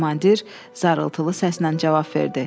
Komandir zarıltılı səslə cavab verdi.